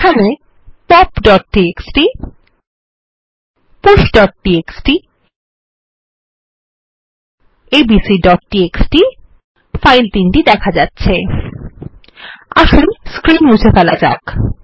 এখানে popটিএক্সটি pushটিএক্সটি এবং abcটিএক্সটি ফাইল দেখা যাচ্ছে আসুন স্ক্রীন মুছে ফেলা যাক